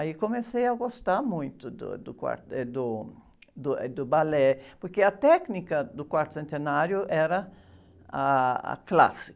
Aí comecei a gostar muito do, do quarto, eh, do, do, eh, do balé, porque a técnica do quarto centenário era ah, a clássica.